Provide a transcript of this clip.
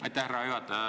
Aitäh, härra juhataja!